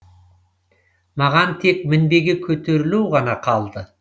маған тек мінбеге көтерілу ғана қалды